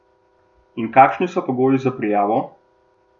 In kakšni so pogoji za prijavo?